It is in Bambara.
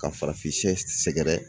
Ka farafin sɛ sɛgɛrɛ